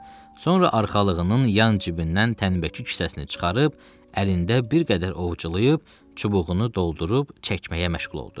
Sonra arxalığının yan cibindən tənəbəki küssəsini çıxarıb əlində bir qədər ovculayıb, çubuğunu doldurub çəkməyə məşğul oldu.